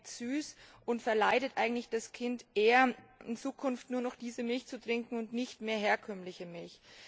Sie schmeckt süß und verleitet eigentlich das Kind eher, in Zukunft nur noch diese Milch zu trinken und nicht mehr herkömmliche Milch.